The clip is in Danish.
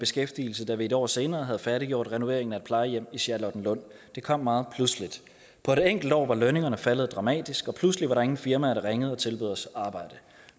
beskæftigelse da vi et år senere havde færdiggjort renoveringen af et plejehjem i charlottenlund det kom meget pludseligt på et enkelt år var lønningerne faldet dramatisk og pludselig var der ingen firmaer der ringede og tilbød os arbejde